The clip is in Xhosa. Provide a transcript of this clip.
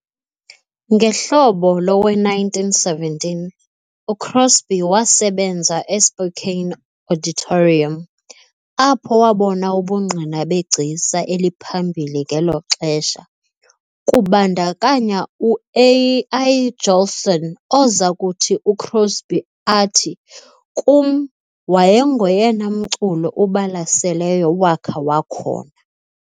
Ngehlobo lowe- 1917 uCrosby wasebenza eSpokane "Auditorium", apho wabona ubungqina begcisa eliphambili ngelo xesha, kubandakanya u- Al Jolson, oza kuthi uCrosby athi, " "Kum, wayengoyena mculi ubalaseleyo wakha wakhona" ."